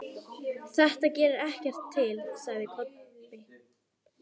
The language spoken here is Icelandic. Þetta gerir ekkert til, sagði Kobbi.